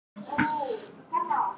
Hann tók litla kettlinginn varlega upp.